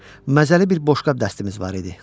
Məzəli bir boşqab dəstimiz var idi.